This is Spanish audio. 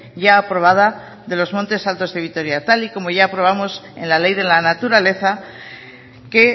cec con los montes altos de vitoria tal y como ya aprobamos en la ley de la naturaleza que